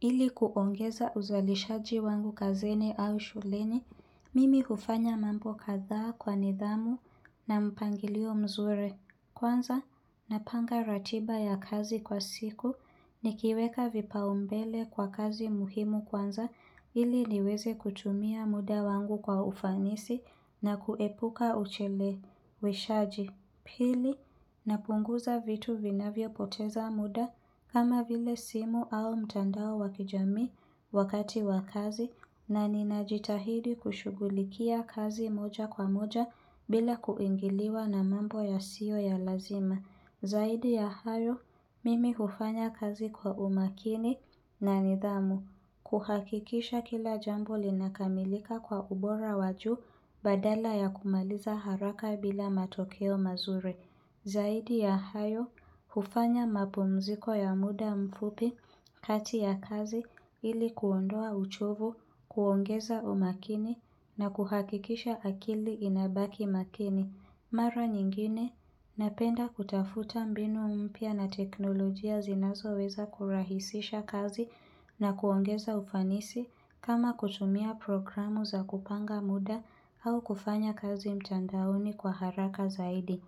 Ili kuongeza uzalishaji wangu kazini au shuleni, mimi kufanya mambo kadhaa kwa nidhamu na mpangilio mzuri. Kwanza, napanga ratiba ya kazi kwa siku ni kiweka vipaumbele kwa kazi muhimu kwanza ili niweze kutumia muda wangu kwa ufanisi na kuepuka uchele we shaji. Pili, napunguza vitu vinavyo poteza muda kama vile simu au mtandao wakijami wakati wakazi na ninajitahidi kushugulikia kazi moja kwa moja bila kuingiliwa na mambo ya siyo ya lazima. Zaidi ya hayo, mimi hufanya kazi kwa umakini na nidhamu. Kuhakikisha kila jamboli na kamilika kwa ubora waju badala ya kumaliza haraka bila matokeo mazuri. Zaidi ya hayo, hufanya mapumziko ya muda mfupi kati ya kazi ili kuondoa uchovu, kuongeza umakini na kuhakikisha akili inabaki makini. Mara nyingine, napenda kutafuta mbinu umpia na teknolojia zinazo weza kurahisisha kazi na kuongeza ufanisi kama kutumia programu za kupanga muda au kufanya kazi mtandaoni kwa haraka zaidi.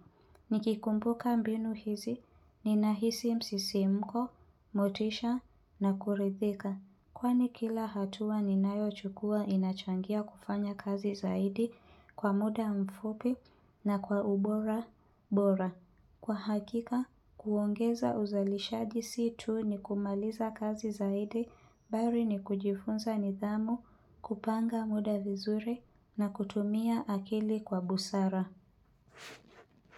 Nikikumbuka mbinu hizi, ninahisi msisi mko, motisha na kuridhika. Kwani kila hatua ninayo chukua inachangia kufanya kazi zaidi kwa muda mfupi na kwa ubora bora. Kwa hakika, kuongeza uzalishaji situ ni kumaliza kazi zaidi bari ni kujifunza nidhamu, kupanga muda vizuri na kutumia akili kwa busara.